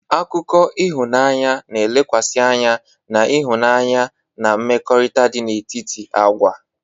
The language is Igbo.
Akụkọ ịhụnanya na-elekwasị anya na ịhụnanya na mmekọrịta dị n'etiti agwa.